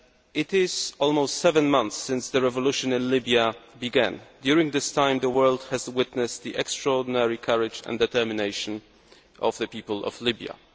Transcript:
It is almost seven months since the revolution in Libya began. During this time the world has witnessed the extraordinary courage and determination of the people of Libya.